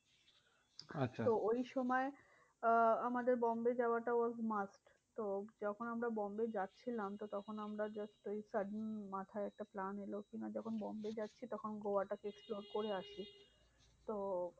আচ্ছা, তো ওই সময় আহ আমাদের বোম্বে যাওয়াটাও আরকি must. তো যখন আমরা বোম্বে যাচ্ছিলাম তো তখন আমরা just ওই sudden মাথায় একটা plan এলো। কিনা যখন বোম্বে যাচ্ছি তখন গোয়াটাকে explore করে আসি। তো